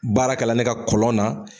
Baara kɛla ne ka kɔlɔn na